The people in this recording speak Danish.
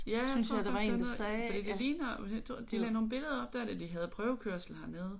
Ja det tror jeg faktisk der er noget fordi det ligner de lagde nogle billeder op der da de havde prøvekørsel hernede